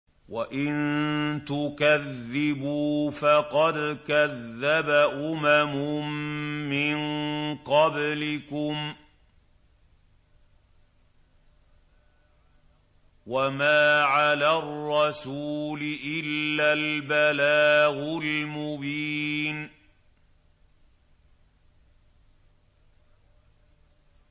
وَإِن تُكَذِّبُوا فَقَدْ كَذَّبَ أُمَمٌ مِّن قَبْلِكُمْ ۖ وَمَا عَلَى الرَّسُولِ إِلَّا الْبَلَاغُ الْمُبِينُ